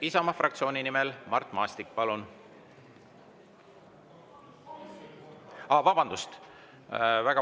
Isamaa fraktsiooni nimel Mart Maastik, palun!